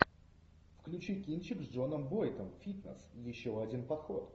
включи кинчик с джоном войтом фитнес еще один подход